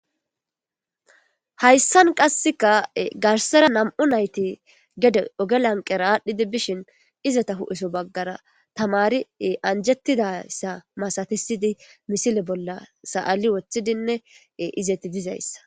hayssan qasseka garsera nam7u nayti gede ogelanqera aadhdhidi bishin izata hu7eso baggara tamari anjettidayssa masatisidi misile bolla sa7ali wothidinne izeti dizayssa